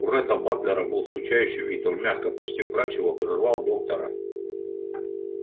у ретта батлера был скучающий вид он мягко почти вкрадчиво прервал доктора